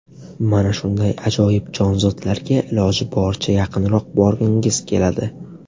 Mana shunday ajoyib jonzotlarga iloji boricha yaqinroq borgingiz keladi.